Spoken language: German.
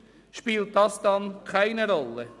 Spielt das dann keine Rolle?